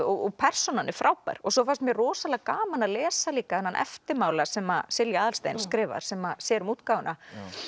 og persónan er frábær og svo fannst mér rosalega gaman að lesa líka þennan eftirmála sem Silja Aðalsteins skrifar sem sér um útgáfuna